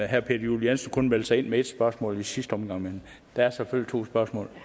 herre peter juel jensen kun meldte sig ind med ét spørgsmål i sidste omgang men der er selvfølgelig to spørgsmål